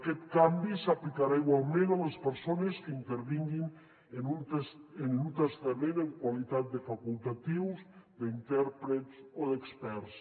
aquest canvi s’aplicarà igualment a les persones que intervinguin en un testament en qualitat de facultatius d’intèrprets o d’experts